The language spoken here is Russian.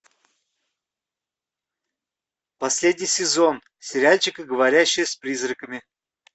последний сезон сериальчика говорящая с призраками